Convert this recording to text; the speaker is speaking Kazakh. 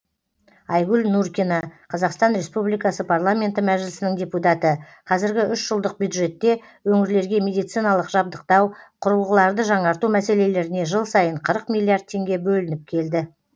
айгүл нұркина қазақстан республикасы парламенті мәжілісінің депутаты қазіргі үш жылдық бюджетте өңірлерге медициналық жабдықтау құрылғыларды жаңарту мәселелеріне жыл сайын қырық миллиард теңге бөлініп келді